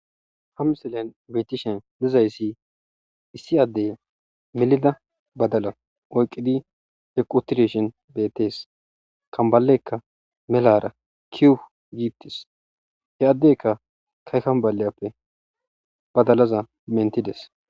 ha miselen beetishen dizayssi issi addey milida badala oyqqidi he qutireshen beettees kambalekka melara kiu giittis he addeykka kay kambaleyappe badalaza mentides